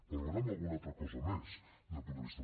valorem alguna altra cosa més des del punt de vista